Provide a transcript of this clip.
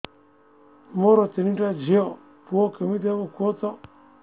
ମୋର ତିନିଟା ଝିଅ ପୁଅ କେମିତି ହବ କୁହତ